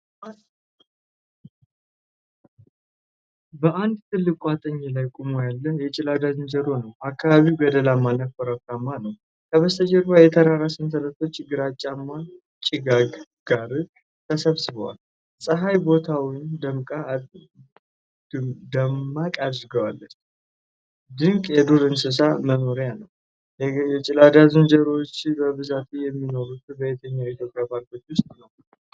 በአንድ ትልቅ ቋጥኝ ላይ ቆሞ ያለ የገላዳ ዝንጀሮ ነው። አካባቢው ገደላማና ኮረብታ ነው። ከበስተጀርባ የተራራ ሰንሰለቶች ከግራጫማ ጭጋግ ጋር ተሰብስበዋል። ፀሐይ ቦታውን ደማቅ አድርጋዋለች። ድንቅ የዱር እንስሳት መኖርያ ነው። የገላዳ ዝንጀሮዎች በብዛት የሚኖሩት በየትኞቹ የኢትዮጵያ ፓርኮች ውስጥ ነው?